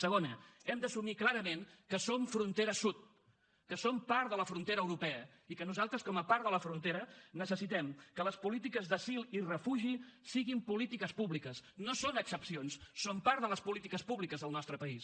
segona hem d’assumir clarament que som frontera sud que som part de la frontera europea i que nosaltres com a part de la frontera necessitem que les polítiques d’asil i refugi siguin polítiques públiques no són excepcions són part de les polítiques públiques del nostre país